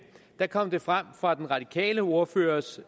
kom det frem fra den radikale ordførers